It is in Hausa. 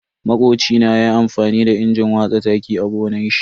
Makocina ya yi amfani da injin watsa taki a gonan shi.